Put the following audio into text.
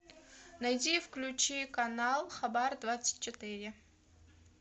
найди включи канал хабар двадцать четыре